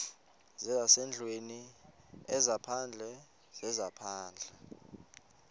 zezasendlwini ezaphandle zezaphandle